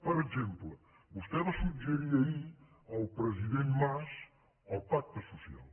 per exemple vostès va suggerir ahir al president mas el pacte social